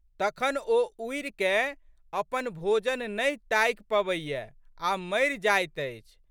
तखन ओ उड़िकए अपन भोजन नहि ताकि पबैए आ मरि जाइत अछि।